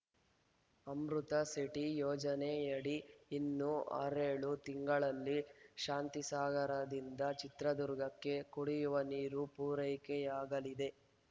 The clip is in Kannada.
ಅಮೃತ್‌ ಸಿಟಿ ಯೋಜನೆಯಡಿ ಇನ್ನು ಆರೇಳು ತಿಂಗಳಲ್ಲಿ ಶಾಂತಿಸಾಗರದಿಂದ ಚಿತ್ರದುರ್ಗಕ್ಕೆ ಕುಡಿಯುವ ನೀರು ಪೂರೈಕೆಯಾಗಲಿದೆ